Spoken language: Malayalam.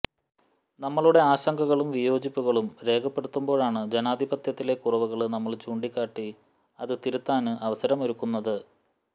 നമ്മുടെ ആശങ്കകളും വിയോജിപ്പുകളും രേഖപ്പെടുത്തുമ്പോഴാണ് ജനാധിപത്യത്തിലെ കുറവുകള് നമ്മള് ചൂണ്ടിക്കാട്ടി അത് തിരുത്താന് അവസരമൊരുക്കുന്നത്